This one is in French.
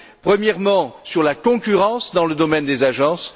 premièrement sur la concurrence dans le domaine des agences.